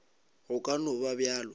go ka no ba bjalo